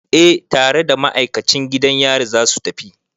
Eh tare da ma'aikacin gidan yari za su tafi.